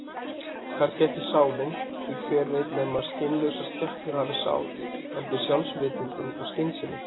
Kannski ekki sálin, því hver veit nema skynlausar skepnur hafi sál, heldur sjálfsvitundin og skynsemin.